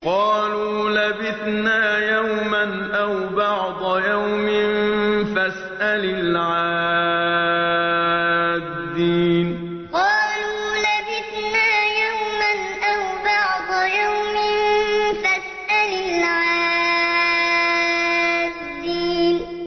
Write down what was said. قَالُوا لَبِثْنَا يَوْمًا أَوْ بَعْضَ يَوْمٍ فَاسْأَلِ الْعَادِّينَ قَالُوا لَبِثْنَا يَوْمًا أَوْ بَعْضَ يَوْمٍ فَاسْأَلِ الْعَادِّينَ